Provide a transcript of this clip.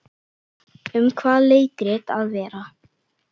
Um hvað á leikritið að vera?